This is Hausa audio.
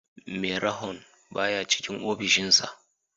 Merahon baya cikin offishin sa